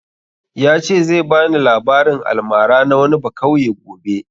Ya ce zai bani labarin almara na wani bakauye gobe